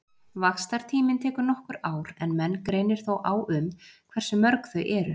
Vaxtartíminn tekur nokkur ár en menn greinir þó á um hversu mörg þau eru.